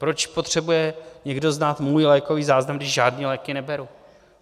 Proč potřebuje někdo znát můj lékový záznam, když žádné léky neberu?